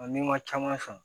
n'i ma caman san